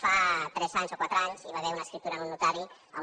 fa tres anys o quatre anys hi va haver una escriptura en un notari on